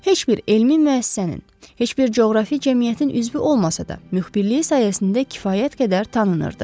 Heç bir elmi müəssisənin, heç bir coğrafi cəmiyyətin üzvü olmasa da, müxbirliyi sayəsində kifayət qədər tanınırdı.